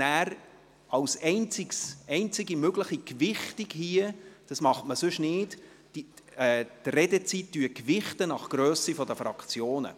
Als einzige mögliche Gewichtung – dies wird sonst nicht gemacht –, gewichten wir die Redezeit nach der Grösse der Fraktionen.